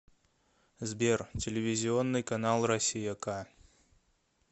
сбер телевизионный канал россия к